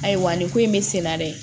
Ayiwa nin ko in be sen na dɛ